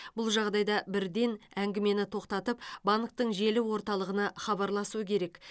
бұл жағдайда бірден әңгімені тоқтатып банктің желі орталығына хабарласу керек